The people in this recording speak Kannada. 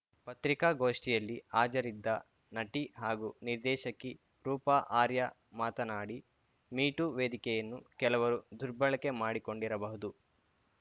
ಪತ್ರಿಕಾಗೋಷ್ಠಿಯಲ್ಲಿ ಹಾಜರಿದ್ದ ನಟಿ ಹಾಗೂ ನಿರ್ದೇಶಕಿ ರೂಪಾ ಅರ್ಯಾ ಮಾತನಾಡಿ ಮೀ ಟೂ ವೇದಿಕೆಯನ್ನು ಕೆಲವರು ದುರ್ಬಳಕೆ ಮಾಡಿಕೊಂಡಿರಬಹುದು